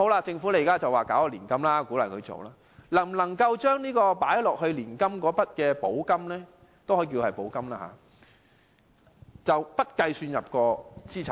政府現時表示會推出年金計劃，鼓勵長者投資，那麼投放到年金的那筆金額能否不計算入資產內？